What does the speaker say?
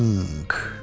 Bank.